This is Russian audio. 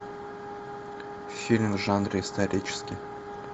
фильм в жанре исторический